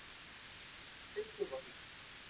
Dugguvogi